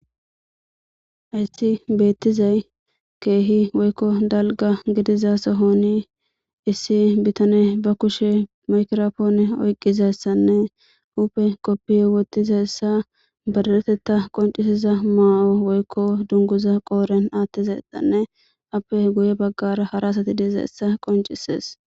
Issi beettizay keehi woykko dalga gidiza sohoni issi bitane ba kushe makrofoone oyqqizayssanne huupe qoppiye wotiza essa badaretetta qoncisiza maa'o woykko dunguza qooren aattizay exanne appe guye baggara hara asati diiza essa qoncisees.